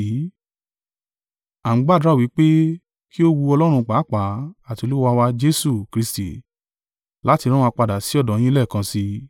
À ń gbàdúrà wí pé, kí ó wu Ọlọ́run pàápàá àti Olúwa wa Jesu Kristi láti rán wa padà sí ọ̀dọ̀ yín lẹ́ẹ̀kan sí í.